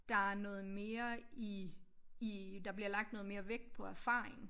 Der er noget mere i i der bliver lagt noget mere vægt på erfaring